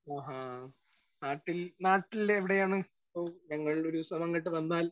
Speaker 1 ആഹാ. നാട്ടിൽ നാട്ടിൽ എവിടെയാണ്? ഇപ്പൊ ഞങ്ങൾ ഒരുദിവസം അങ്ങോട്ട് വന്നാൽ